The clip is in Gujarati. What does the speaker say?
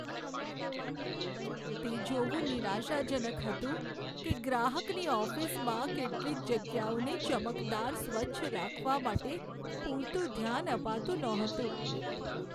તે જોવું નિરાશાજનક હતું કે ગ્રાહકની ઓફિસમાં કેટલીક જગ્યાઓને ચમકદાર સ્વચ્છ રાખવા માટે પૂરતું ધ્યાન અપાતું નહોતું.